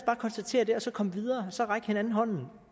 konstatere det og så komme videre og så række hinanden hånden